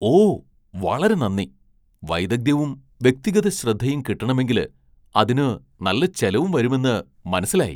ഓ വളരെ നന്ദി! വൈദഗ്ധ്യവും വ്യക്തിഗത ശ്രദ്ധയും കിട്ടണമെങ്കില് അതിനു നല്ല ചെലവും വരുമെന്ന് മനസ്സിലായി.